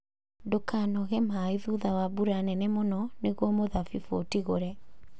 Ndũkanoge maĩ thutha wa mbura nene mũno nĩguo mũthabibũ ũtigũre.